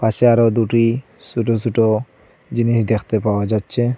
পাশে আরও দুটি ছোট ছোট জিনিস দেখতে পাওয়া যাচ্ছে।